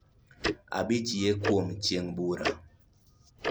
Abich, Yie Kuom Chieng' Bura.